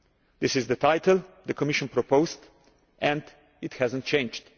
That is the title the Commission proposed, and it has not changed.